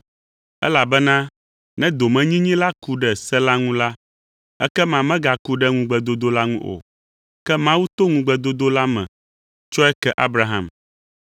Elabena ne domenyinyi la ku ɖe se la ŋu la, ekema megaku ɖe ŋugbedodo la ŋu o; ke Mawu to ŋugbedodo la me tsɔe ke Abraham.